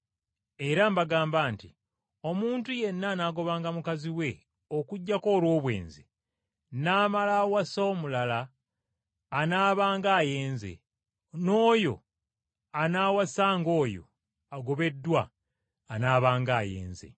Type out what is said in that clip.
Era mbagamba nti omuntu yenna anaagobanga mukazi we okuggyako olw’obwenzi, n’amala awasa omulala, anaabanga ayenze, n’oyo anaawasanga oyo agobeddwa anaabanga ayenze.”